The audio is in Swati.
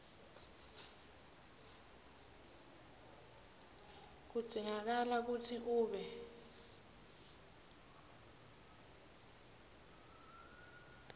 kudzingakala kutsi ube